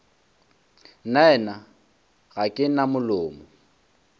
nnaena ga ke na molomo